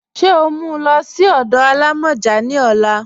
Ṣe o mú ú lọ sí ọdọ alámọ́jà ni ọ̀là?